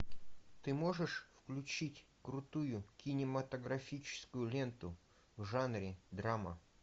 ты можешь включить крутую кинематографическую ленту в жанре драма